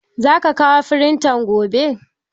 Za ka kawo firintan gobe?